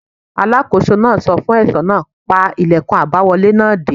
Alákóso náà sọ fún ẹ̀ṣọ́ náà: pa ìlẹ̀kùn àbáwọlé náà dé!